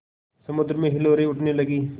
समुद्र में हिलोरें उठने लगीं